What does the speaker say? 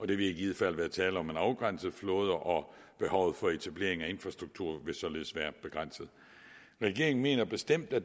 vil i givet fald være tale om en afgrænset flåde og behovet for etablering af infrastruktur vil således være begrænset regeringen mener bestemt at